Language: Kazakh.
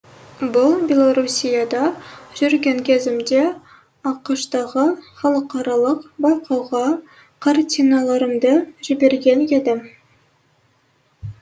бұл беларусияда жүрген кезімде ақш тағы халықаралық байқауға картиналарымды жіберген едім